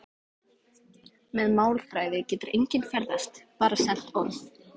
Með málþræði getur enginn ferðast- aðeins sent orð.